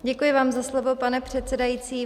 Děkuji vám za slovo, pane předsedající.